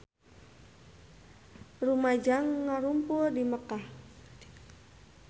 Rumaja ngarumpul di Mekkah